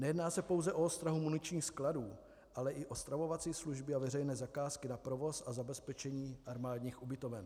Nejedná se pouze o ostrahu muničních skladů, ale i o stravovací služby a veřejné zakázky na provoz a zabezpečení armádních ubytoven.